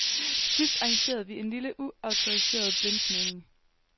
Til sidst arrangerede vi en lille, uautoriseret blindsmagning.